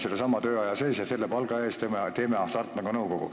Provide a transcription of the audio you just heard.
Sellesama tööaja sees ja selle palga eest me osaleme Hasartmängumaksu Nõukogus.